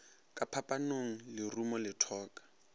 ka phapanong lerumo le thoka